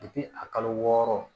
a kalo wɔɔrɔ